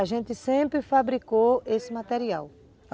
A gente sempre fabricou esse material.